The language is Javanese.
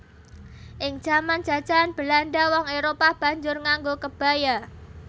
Ing jaman jajahan Belanda wong Éropah banjur nganggo kebaya